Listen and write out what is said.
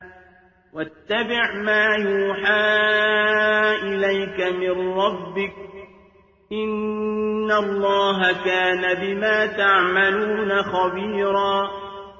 وَاتَّبِعْ مَا يُوحَىٰ إِلَيْكَ مِن رَّبِّكَ ۚ إِنَّ اللَّهَ كَانَ بِمَا تَعْمَلُونَ خَبِيرًا